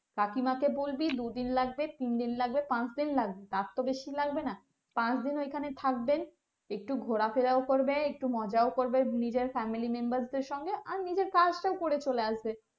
কাকিমা কে বলবি দুদিন লাগবে তিনদিন লাগবে পাঁচদিন লাগবে তার তো বেশি লাগবে না পাঁচদিন ওখানে থাকবে একটু ঘোড়া ফেরাও করবে একটু মজাও করবে নিজের family-members দেড় সঙ্গে আর নিজের কাজ তও করে চলে আসবে